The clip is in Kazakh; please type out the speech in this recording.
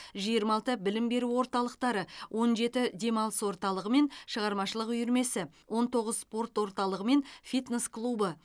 жиырма алты білім беру орталықтары он жеті демалыс орталығы мен шығармашылық үйірмесі он тоғыз спорт орталығы мен фитнес клубы